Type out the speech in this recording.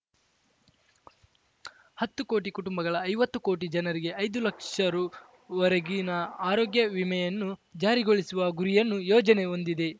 ಹತ್ತು ಕೋಟಿ ಕುಟುಂಬಗಳ ಐವತ್ತು ಕೋಟಿ ಜನರಿಗೆ ಐದು ಲಕ್ಷ ರುವರೆಗಿನ ಆರೋಗ್ಯ ವಿಮೆಯನ್ನು ಜಾರಿಗೊಳಿಸುವ ಗುರಿಯನ್ನು ಯೋಜನೆ ಹೊಂದಿದೆ